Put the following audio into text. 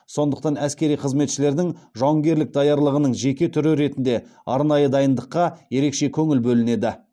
сондықтан әскери қызметшілердің жауынгерлік даярлығының жеке түрі ретінде арнайы дайындыққа ерекше көңіл бөлінеді